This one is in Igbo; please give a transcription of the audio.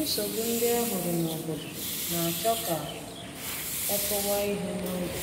Nsogbu ndị e hụrụ n’obodo na-achọ ka e kụwa ihe n’oge